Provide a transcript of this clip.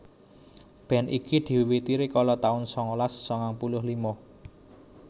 Band iki diwiwiti rikala taun sangalas sangang puluh lima